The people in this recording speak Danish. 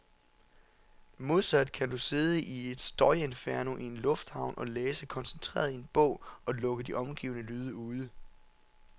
Modsat kan du sidde i et støjinferno i en lufthavn og læse koncentreret i en bog, og lukke de omgivende lyde ude.